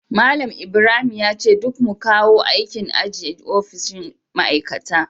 Malam Ibrahim yace duk mu kawo aikin aji a ofishin ma'aikata